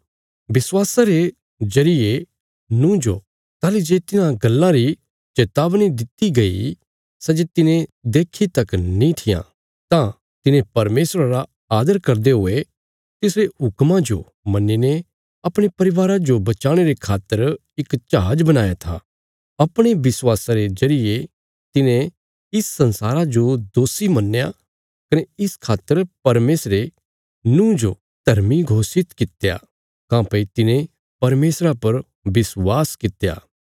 विश्वासा रे जरिये नूँह जो ताहली जे तिन्हां गल्लां री चेतावनी दित्ति गई सै जे तिने देक्खी तक नीं थिआं तां तिने परमेशरा रा आदर करदे हुये तिसरे हुक्मा जो मन्नीने अपणे परिवारा जो बचाणे रे खातर इक जहाज बणाया था अपणे विश्वासा रे जरिये तिने इस संसारा जो दोषी मन्नया कने इस खातर परमेशरे नूँह जो धर्मी घोषित कित्या काँह्भई तिने परमेशरा पर विश्वासा कित्या